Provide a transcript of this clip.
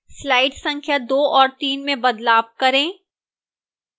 slide संख्या 2 और 3 में बदलाव करें